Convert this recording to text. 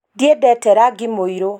Ndĩendete rangi mũĩro.